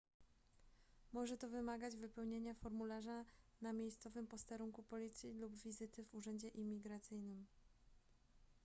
może to wymagać wypełnienia formularza na miejscowym posterunku policji lub wizyty w urzędzie imigracyjnym